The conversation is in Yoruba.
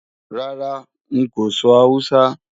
Rárá, n kò sọ Awúsá